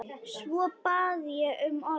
Svo bað ég um orðið.